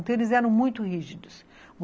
Então, eles eram muito rígidos.